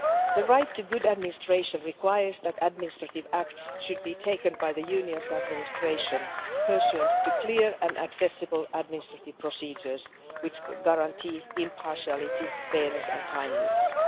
The right to good administration requires that administrative acts should be taken by the Union's administration pursuant to clear and accessible administrative procedures which guarantee impartiality, fairness and timeliness.